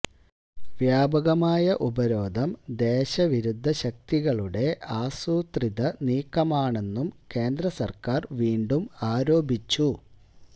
വ്യാപകമായ ഉപരോധം ദേശവിരുദ്ധ ശക്തികളുടെ ആസൂത്രിത നീക്കമാണെന്നും കേന്ദ്രസര്ക്കാര് വീണ്ടും ആരോപിച്ചു